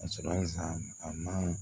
Ka sɔrɔ sa a ma